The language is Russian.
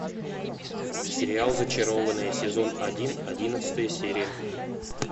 сериал зачарованные сезон один одиннадцатая серия